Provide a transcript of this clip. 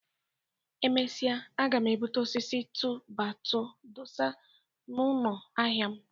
Emesịa aga m ebuta osisi tu-bai-tu dosa n'ụnọ ahịa m.